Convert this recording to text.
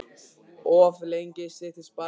Of lengi streittist barnið á móti